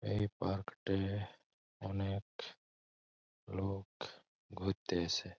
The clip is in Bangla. এই পার্ক টে-এ অনেক লোক ঘুরতে এসে।